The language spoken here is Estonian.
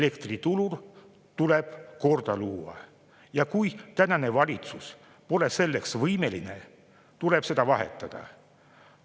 Elektriturul tuleb luua kord ja kui tänane valitsus pole selleks võimeline, tuleb see välja vahetada.